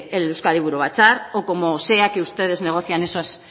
el euzkadi buru batzar o como sea que ustedes negocian esas